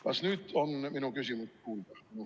Kas nüüd on minu küsimus kuulda?